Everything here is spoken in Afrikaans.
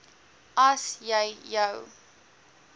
as jy jou